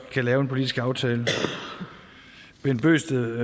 kan lave en politisk aftale bent bøgsted